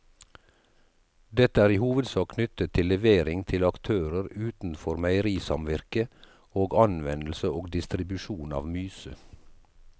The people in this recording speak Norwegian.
Dette er i hovedsak knyttet til levering til aktører utenfor meierisamvirket og anvendelse og distribusjon av myse.